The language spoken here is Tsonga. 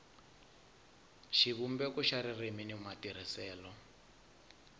xivumbeko xa ririmi ni matirhisele